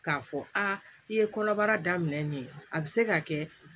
K'a fɔ aa i ye kɔnɔbara daminɛ nin a be se ka kɛ